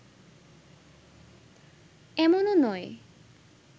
এমনও নয়